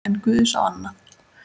En guð sá annað.